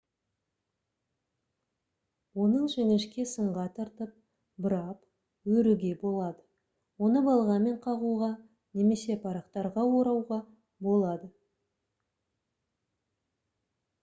оны жіңішке сымға тартып бұрап өруге болады оны балғамен қағуға немесе парақтарға орауға болады